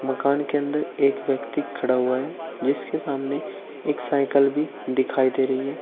मकान के अंदर एक व्यक्ति खड़ा हुआ है जिसके सामने एक साइकल भी दिखाई दे रही है।